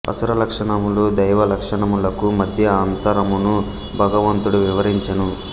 అసుర లక్షణములు దైవ లక్షణములకు మధ్య అంతరమును భగవంతుడు వివరించెను